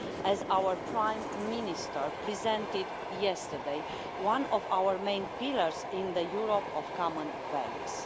As our Prime Minister outlined yesterday, one of our main pillars is the Europe of common values.